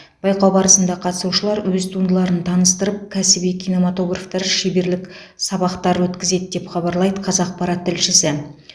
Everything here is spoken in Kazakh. байқау барысында қатысушылар өз туындыларын таныстырып кәсіби киноматографтар шеберлік сабақтар өткізеді деп хабарлайды қазақпарат тілшісі